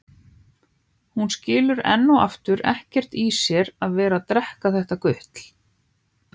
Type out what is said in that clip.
Hún skilur enn og aftur ekkert í sér að vera að drekka þetta gutl.